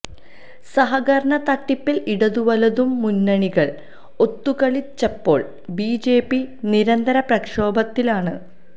സഹകരണ തട്ടിപ്പില് ഇടതുവലതു മുന്നണികള് ഒത്തുകളിച്ചപ്പോള് ബിജെപി നിരന്തര പ്രക്ഷോഭത്തിലാണ്